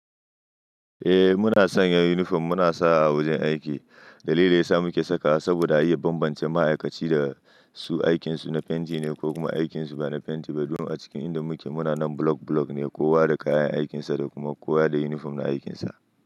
Eh muna sanya uniform muna sa a wajen aiki. Dalilin da yasa muke sakawa saboda a iya bambance ma'aikaci da su aikin su na fenti ne ko kuma aikin su ba na fenti ba. Duk a cikin inda muke muna nan block block ne. Kowa da kayan aikinsa da kuma kowa da uniform na aikinsa.